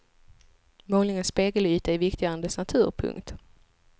Målningens spegelyta är viktigare än dess natur. punkt